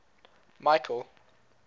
michael